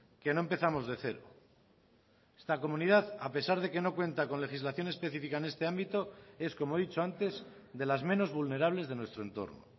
que no empezamos de cero esta comunidad a pesar de que no cuenta con legislación específica en este ámbito es como he dicho antes de las menos vulnerables de nuestro entorno